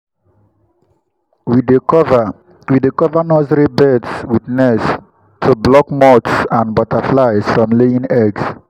we dey cover we dey cover nursery beds with nets to block moths and butterflies from laying eggs.